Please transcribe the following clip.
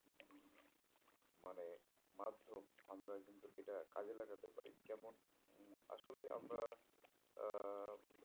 মানে মাধ্যম আমরা কিন্তু এটা কাজে লাগাতে পারি কেমন আসলে আমরা আহ